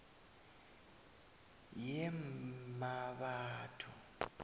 yemmabatho